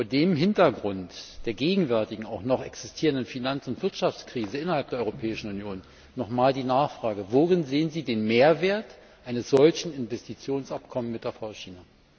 Vor dem Hintergrund der gegenwärtigen, auch noch existierenden Finanz und Wirtschaftskrise innerhalb der Europäischen Union noch einmal die Nachfrage Worin sehen Sie den Mehrwert eines solchen Investitionsabkommens mit der VR China?